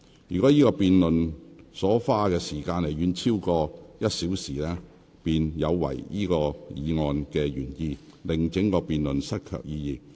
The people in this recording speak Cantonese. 若辯論這項議案所花的時間遠遠超過1小時，便有違議案的原意，令整項辯論失卻意義。